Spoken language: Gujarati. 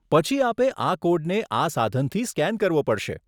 પછી આપે આ કોડને આ સાધનથી સ્કેન કરવો પડશે.